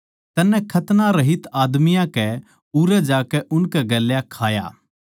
तन्नै खतनारहित आदमियाँ कै उरै जाकै उनकै गेल्या खाया